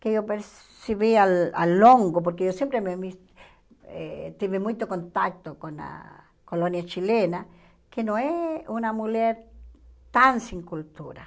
que eu percebi ao ao longo, porque eu sempre me mis eh tive muito contato com a colônia chilena, que não é uma mulher tão sem cultura.